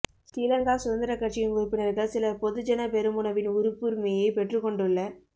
ஸ்ரீலங்கா சுதந்திரக் கட்சியின் உறுப்பினர்கள் சிலர் பொதுஜன பெரமுனவின் உறுப்புரிமையை பெற்றுக்கொண்டுள்ள